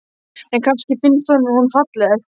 En kannski finnst honum hún falleg.